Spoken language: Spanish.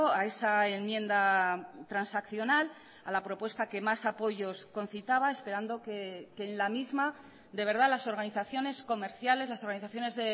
a esa enmienda transaccional a la propuesta que más apoyos concitaba esperando que en la misma de verdad las organizaciones comerciales las organizaciones